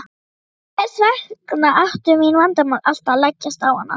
Hvers vegna ættu mín vandamál alltaf að leggjast á hana.